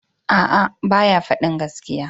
Aa, ba ya fadin gaskiya.